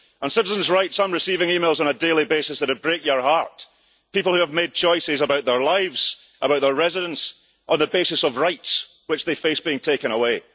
On citizens' rights, I am receiving emails on a daily basis that would break your heart people who have made choices about their lives, about their residence on the basis of rights which they face having taken away.